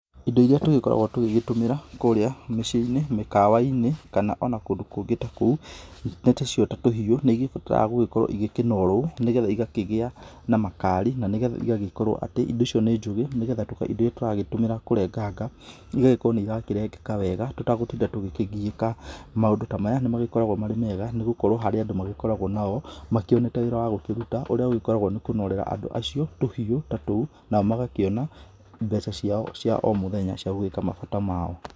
Indo iria tũgĩkoragwo tũgĩtũmĩra kũrĩa mĩciĩ-inĩ, mĩkawa-inĩ kana ona kũndũ kũngĩ o ta kũu, nĩ ta icio ta tũhiũ na indo icio nĩigĩbatara gũkorwo ikĩnorwo, nĩgetha igakĩgĩa na makali, na nĩgetha igagĩkorwo indo icio nĩ njũgĩ, nĩgetha indo iria tũragĩtũmĩra kũrenganga igagĩkorwo nĩirarengeka wega tũtagũtinda tũgĩkĩgiĩka. Maũndũ ta maya nĩmakoragwo makĩrĩ mega nĩgũkorwo harĩ andũ makoragwo nao makĩonete wĩra wa gũkĩruta, ũrĩa ũgĩkoragwo nĩ kũnorera andũ acio tũhiũ ta tũu, nao magakĩona mbeca ciao cia o mũthenya cia gũgĩka mabata mao.